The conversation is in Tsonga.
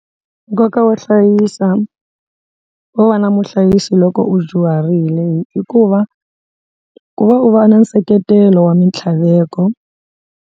Nkoka wo hlayisa wo va na muhlayisi loko u dyuharile i ku va ku va u va na nseketelo wa mitlhaveko.